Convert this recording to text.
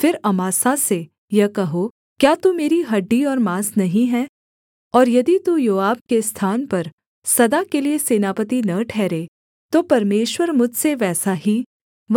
फिर अमासा से यह कहो क्या तू मेरी हड्डी और माँस नहीं है और यदि तू योआब के स्थान पर सदा के लिये सेनापति न ठहरे तो परमेश्वर मुझसे वैसा ही